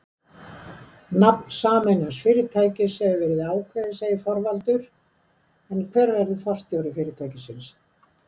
Nafn sameinaðs fyrirtækis hefur ekki verið ákveðið segir Þorvaldur en hver verður forstjóri fyrirtækisins?